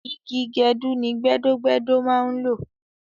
Igi gẹdú ni gbẹ́dọ́-gbẹ́dọ́ máa ń lò